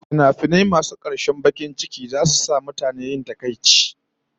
Tragic fims will continue to make people sad